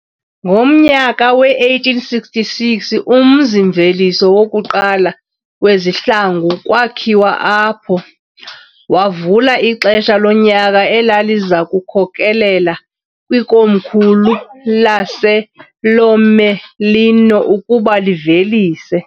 Ngomnyaka we-1866 umzimveliso wokuqala wezihlangu kwakhiwa apho, wavula ixesha lonyaka elaliza kukhokelela kwikomkhulu laseLomellino ukuba livelise